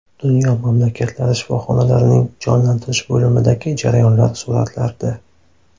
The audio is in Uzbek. Dunyo mamlakatlari shifoxonalarining jonlantirish bo‘limidagi jarayonlar suratlarda.